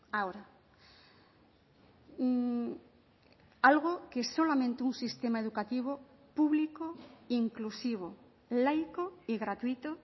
ahora algo que es solamente un sistema educativo público inclusivo laico y gratuito